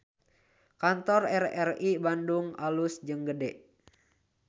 Kantor RRI Bandung alus jeung gede